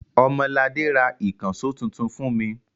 Ọmọladé ra ìkànṣó tuntun fún mi.